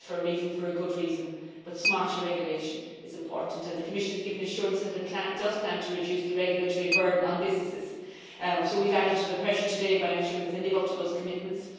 They are there for a reason, for a good reason, but smarter regulation is important. The Commission has given assurances that it plans to reduce the regulatory burden on businesses, so we have added to the pressure today by ensuring that they live up to those commitments.